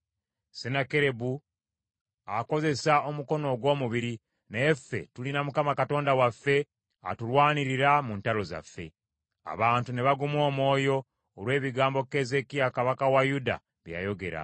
Sennakeribu akozesa omukono ogw’omubiri, naye ffe tulina Mukama Katonda waffe atulwanirira mu ntalo zaffe.” Abantu ne baguma omwoyo olw’ebigambo Keezeekiya kabaka wa Yuda bye yayogera.